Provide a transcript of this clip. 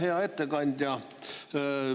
Hea ettekandja!